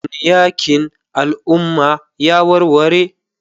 Shin yakin al'umma ya warware?